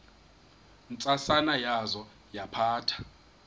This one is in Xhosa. ntsasana yaza yaphatha